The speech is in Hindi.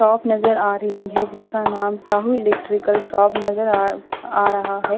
शॉप नज़र आ रही है जिसका नाम शाहू इलेक्ट्रिकल शॉप नज़र आ-आ रहा है।